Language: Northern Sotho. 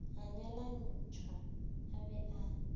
a nyalantšhwa a be a